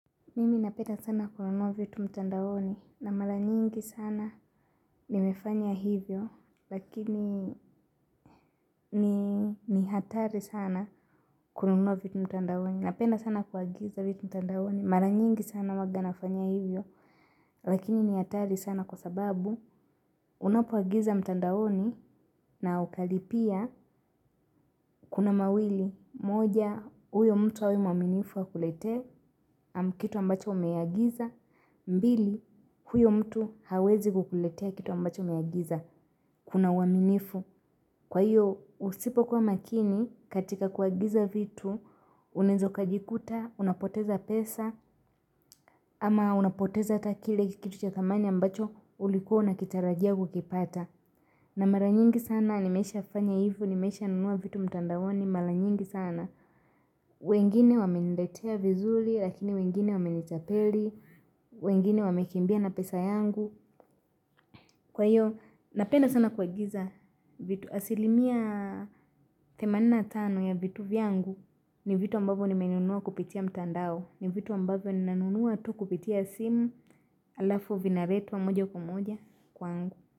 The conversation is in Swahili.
Mimi napenda sana kununua vitu mtandaoni na mara nyingi sana nimefanya hivyo lakini ni hatari sana kununuavitu mtandaoni. Napenda sana kuagiza vitu mtandaoni. Maranyingi sana huaga nafanya hivyo lakini ni hatari sana kwa sababu unapo agiza mtandaoni na ukalipia kuna mawili. Moja, huyo mtu awe mwaminifu akuletee kitu ambacho umeagiza. Mbili, huyo mtu hawezi kukuletea kitu ambacho umeagiza. Kuna uaminifu. Kwa hiyo, usipo kuwa makini katika kuagiza vitu unaeza ukajikuta, unapoteza pesa. Ama unapoteza hata kile kitu cha thamani ambacho ulikua unakitarajia kukipata. Na maranyingi sana, nimesha fanya hivo, nimesha nunua vitu mtandaoni mala nyingi sana. Wengine wame niletea vizuli, lakini wengine wame nitapeli, wengine wame kimbia na pesa yangu. Kwa hiyo, napenda sana kuagiza vitu asilimia themanini na tano ya vitu vyangu ni vitu ambavyo nimenunua kupitia mtandao. Ni vitu ambavyo ni nanunua tu kupitia simu alafu vinaretwa moja kwa moja kwangu.